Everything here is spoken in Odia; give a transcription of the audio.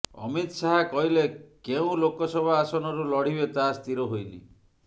ଅମିତ ଶାହା କହିଲେ କେଉଁ ଲୋକସଭା ଆସନରୁ ଲଢ଼ିବେ ତାହା ସ୍ଥିର ହୋଇନି